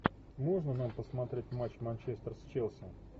можно нам посмотреть матч манчестер с челси